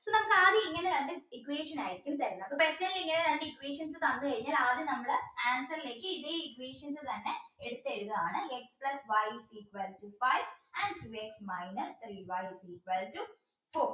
അപ്പൊ ഞമ്മക്ക് ആദ്യം ഇങ്ങനെ രണ്ട് equation ആയിരിക്കും തരുന്നത് അപ്പൊ പെട്ടെന്ന് ഇങ്ങനെ രണ്ട് equations തന്നു കഴിഞ്ഞാൽ ആദ്യം നമ്മൾ answer ലേക്ക് ഇതേ equation എന്നെ എടുത്ത് എഴുതുകയാണ് x plus y equal to five and two x minus three y equals to four